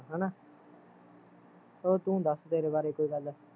ਹੈਨਾ ਹੋਰ ਤੂੰ ਦੱਸ ਤੇਰੇ ਬਾਰੇ ਕੋਈ ਗੱਲ